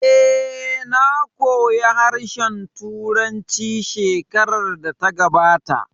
Eh, na koya harshen Turanci shekarar da ta gabata